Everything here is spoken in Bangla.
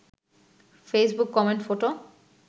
Facebook comment photo